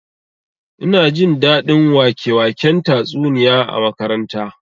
Ina jin daɗin wake-waken tatsuniya a makaranta